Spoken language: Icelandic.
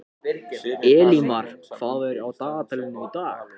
Elímar, hvað er á dagatalinu í dag?